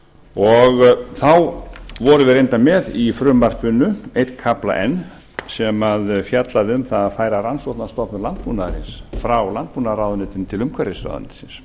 og vorum við reyndar með í frumvarpinu einn kafla enn sem fjallaði um það að færa rannsókna stofnun landbúnaðarins frá landbúnaðarráðuneytinu til umhverfisráðuneytisins